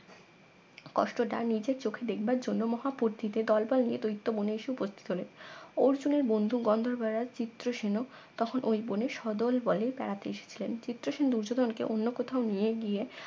কষ্টটা নিজের চোখে দেখবার জন্য মহাবুদ্ধিতে দলবল নিয়ে দৈত্য বনে এসে উপস্থিত হলেন অর্জুনের বন্ধু গন্ধর্ব রাজ চিত্রসেন ও তখন ওই বনের সদলবলে বেড়াতে এসেছিলেন চিত্রসেন দুর্যোধন কে অন্য কোথাও নিয়ে গিয়ে